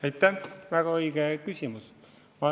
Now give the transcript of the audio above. Aitäh, väga õige küsimus!